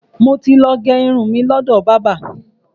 Mo ti ló gé irun mi ni ọ̀dọ̀ bábà.